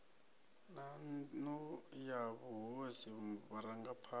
na nnu ya mahosi vharangaphana